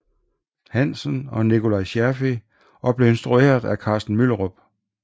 Hansen og Nikolaj Scherfig og blev instrueret af Carsten Myllerup